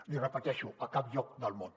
l’hi repeteixo a cap lloc del món